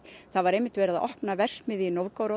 það var verið að opna verksmiðju í